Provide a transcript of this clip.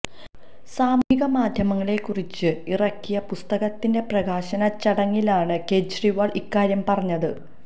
സാമൂഹിക മാധ്യമങ്ങളെ കുറിച്ച് ഇറക്കിയ പുസ്കത്തിന്റെ പ്രകാശന ചടങ്ങിലാണ് കെജ്രിവാള് ഇക്കാര്യം പറഞ്ഞത്